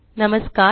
नमस्कार